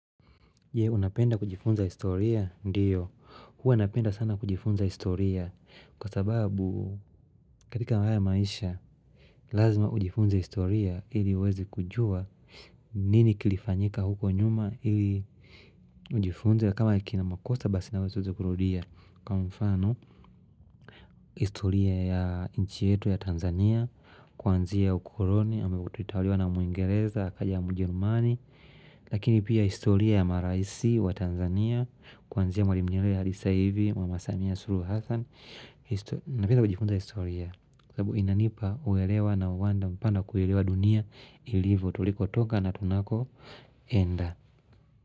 Unapenda kujifunza historia ndiyo, huwa napenda sana kujifunza historia kwa sababu katika haya maisha lazima ujifunze historia ili uweze kujua nini kilifanyika huko nyuma ili ujifunze kama kina makosa basi na usiweze kurudia kwa mfano historia ya nchi yetu ya Tanzania kuanzia ukoloni ambavyo tulitaliwa na muingereza akaja ya mjerumani Lakini pia historia ya maraisi wa Tanzania Kwanzia mwalimu nyerere hadi sasa hivi wa mama samia suluhu hassan Napenda kujifunza historia Kwa sababu inanipa uwelewa na uwanja mpana wa kuelewa dunia ilivyo tuliko toka na tunako enda.